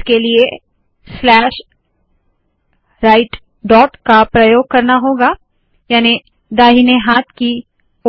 इसके लिए slash right dot का प्रयोग करना होगा याने दाहिने हाथ की